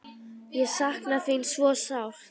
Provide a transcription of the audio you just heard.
Ég sakna þín svo sárt.